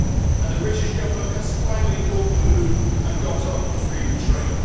And the British Government has finally caught the mood and got on the freedom train.